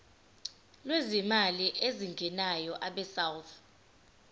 lwezimali ezingenayo abesouth